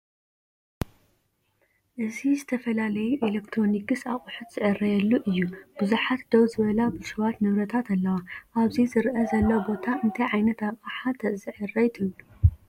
እዚ ዝተፈላለዮ ኤሌክትሮኒክስ ኣቑሑት ዝዕረየሉ እዩ፡፡ ብዙሓት ደው ዝበላ ብልሽዋት ንብረታት ኣለዋ፡፡ ኣብዚ ዝረአ ዘሎ ቦታ እንታይ ዓይነት ኣቕሓ ተዘዕርይ ትብሉ?